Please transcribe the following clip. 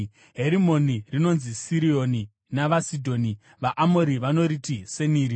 (Herimoni rinonzi Sirioni navaSidhoni; vaAmori vanoriti Seniri).